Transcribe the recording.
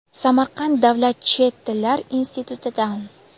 Samarqand davlat chet tillar institutidan.